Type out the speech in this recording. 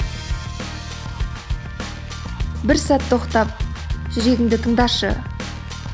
бір сәт тоқтап жүрегіңді тыңдашы